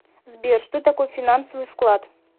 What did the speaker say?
сбер что такое финансовый вклад